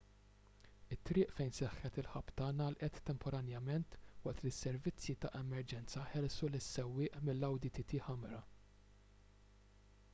it-triq fejn seħħet il-ħabta ngħalqet temporanjament waqt li s-servizzi ta' emerġenza ħelsu lis-sewwieq mill-audi tt ħamra